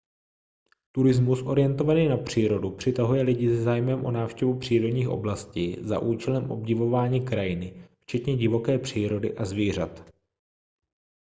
turismus orientovaný na přírodu přitahuje lidi se zájmem o návštěvu přírodních oblastí za účelem obdivování krajiny včetně divoké přírody a zvířat